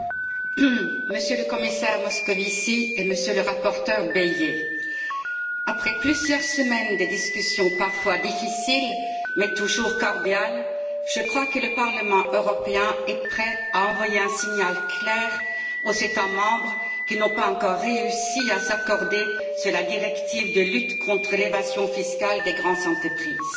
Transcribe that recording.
Madame la Présidente, Monsieur le Commissaire Moscovici, Monsieur le rapporteur Bayet, après plusieurs semaines de discussions, parfois difficiles, mais toujours cordiales, je crois que le Parlement européen est prêt à envoyer un signal clair aux États membres qui n'ont pas encore réussi à s'accorder sur la directive de lutte contre l'évasion fiscale des grandes entreprises.